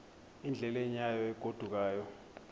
endleleni yayo egodukayo